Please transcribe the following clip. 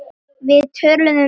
Við töluðum um allt.